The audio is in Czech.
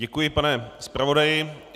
Děkuji, pane zpravodaji.